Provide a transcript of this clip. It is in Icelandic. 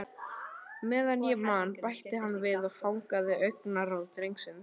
Meðan ég man- bætti hann við og fangaði augnaráð drengsins.